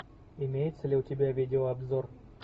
имеется ли у тебя видеообзор